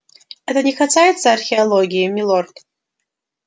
это не касается археологии милорд